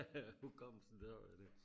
hukommelsen det